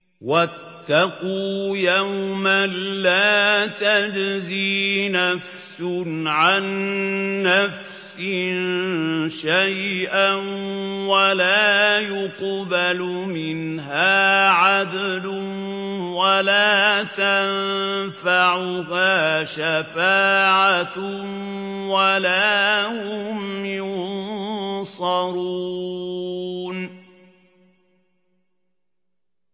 وَاتَّقُوا يَوْمًا لَّا تَجْزِي نَفْسٌ عَن نَّفْسٍ شَيْئًا وَلَا يُقْبَلُ مِنْهَا عَدْلٌ وَلَا تَنفَعُهَا شَفَاعَةٌ وَلَا هُمْ يُنصَرُونَ